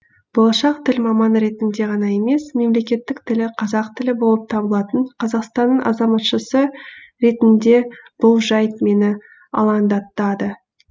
болашақ тіл маманы ретінде ғана емес мемлекеттік тілі қазақ тілі болып табылатын қазақстанның азаматшасы ретінде бұл жайт мені алаңдатады